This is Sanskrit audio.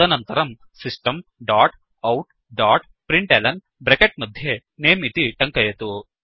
तदनन्तरम् system dot out dot println bracket मध्ये नमे इति टङ्कयतु